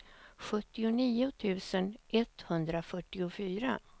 sjuttionio tusen etthundrafyrtiofyra